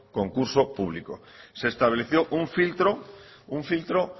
concurso público se estableció un filtro un filtro